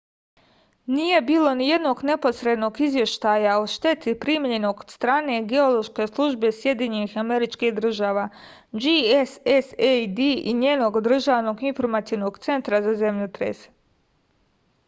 није било ниједног непосредног извештаја о штети примљеног од стране геолошке службе сједињених америчких држава гссад и њеног државног информационог центра за земљотресе